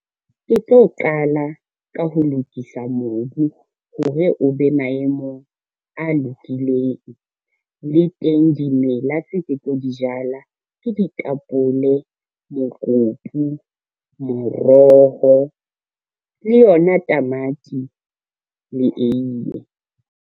Ke tlo qala ka ho lokisa mobu hore o be maemong a lokileng, le teng dimela tse ke tlo di jalake ditapole, mokopu, moroho le yona tamati le eiye.